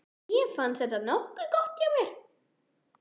Mér fannst þetta nokkuð gott hjá mér.